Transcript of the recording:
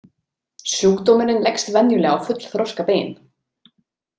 Sjúkdómurinn leggst venjulega á fullþroska bein.